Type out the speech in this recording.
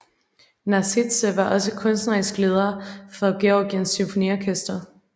Nasidze var også kunstnerisk leder for Georgiens Symfoniorkester